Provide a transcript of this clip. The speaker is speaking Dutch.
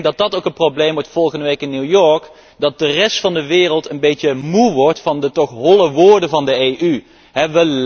En ik denk dat dat ook het probleem wordt, volgende week in New York, dat de rest van de wereld een beetje moe wordt van de toch holle woorden van de Europese Unie.